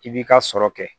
I b'i ka sɔrɔ kɛ